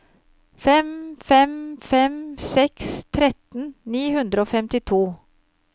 fem fem fem seks tretten ni hundre og femtito